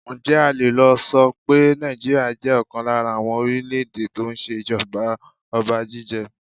Ǹjẹ́ a le so pé Nàìjíríà jẹ́ ọ̀kan lára àwọn orílè èdè tó ń ṣe ìjọba ọba jíjẹ?